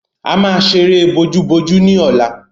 A máa ṣeré bojúbojú ní ọ̀la.